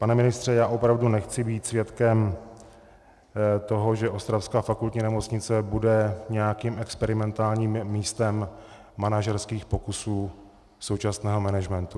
Pane ministře, já opravdu nechci být svědkem toho, že ostravská Fakultní nemocnice bude nějakým experimentálním místem manažerských pokusů současného managementu.